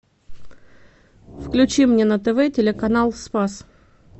включи мне на тв телеканал спас